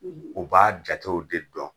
u b'a jatew de dɔn.